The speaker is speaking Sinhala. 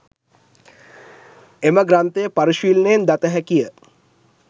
එම ග්‍රන්ථය පරිශීලනයෙන් දත හැකි ය.